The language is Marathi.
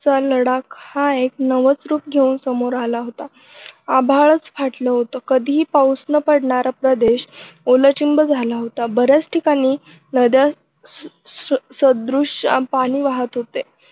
चा लढा हा एक नवच रूप घेऊन समोर आला होता आभाळच फाटलं होत कधीही पाऊस न पडणारा प्रदेश ओलाचिंब झाला होता बऱ्याच ठिकाणी नद्या स अह सदृश्यानं पाणी वाहत होते.